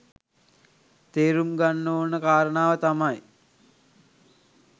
තේරුම්ගන්න ඕන කාරණාව තමයි